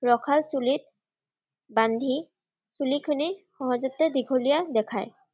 ৰখাৰ চুলিত বান্ধি চুলিখিনি সহজতে দীঘলীয়া দেখায়।